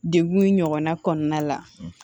Degun in ɲɔgɔnna kɔnɔna la